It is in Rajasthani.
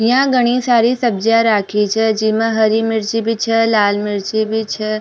यहां घनी सारी सब्जियां राखी छे जिमे हरी मिर्ची भी छे लाल मिर्ची भी छे।